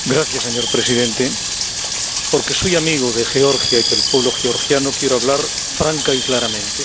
Señor Presidente, porque soy amigo de Georgia y del pueblo georgiano, quiero hablar franca y claramente.